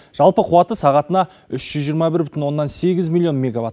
жалпы қуаты сағатына үш жүз жиырма бір бүтін оннан сегіз миллион меговатт